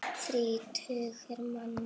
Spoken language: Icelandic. Þrír tugir manna.